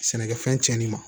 Sɛnɛkɛfɛn tiɲɛnen ma